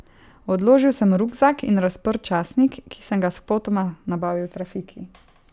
Odložil sem rukzak in razprl časnik, ki sem ga spotoma nabavil v trafiki.